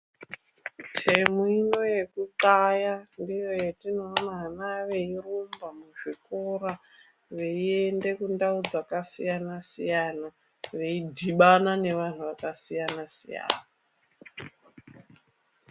Temu ino yekuxaaya ndiyo yatinoona ana veirumba muzvikora, veienda mundau dzakasiyana siyana, veidhibana neantu akasiyana siyana.